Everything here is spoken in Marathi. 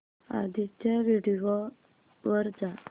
आधीच्या व्हिडिओ वर जा